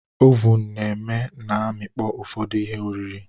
Ovun eme na amịkpọ ufodu ihe oriri